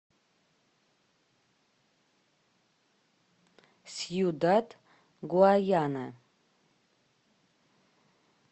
сьюдад гуаяна